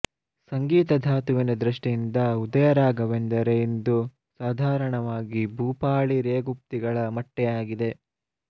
ಸಂಗೀತ ಧಾತುವಿನ ದೃಷ್ಟಿಯಿಂದ ಉದಯರಾಗವೆಂದರೆ ಇಂದು ಸಾಧಾರಣವಾಗಿ ಭೂಪಾಳಿ ರೇಗುಪ್ತಿಗಳ ಮಟ್ಟೇ ಆಗಿದೆ